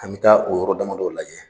An bɛ taa o yɔrɔ damadɔw lajɛ.